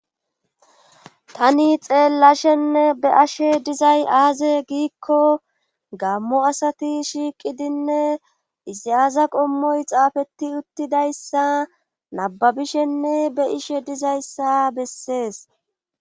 Tani xeellashenne be ashe dizay aaze giikko gammo asati shiiqidinne izyaaza qommoy xaafetti uttidayssa nababishenne be ishe dizayssa bessees.